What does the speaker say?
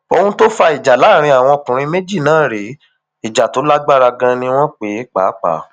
ohun tó fa ìjà láàrin àwọn ọkùnrin méjì náà rèé ìjà tó lágbára ganan ni wọn pè é pàápàá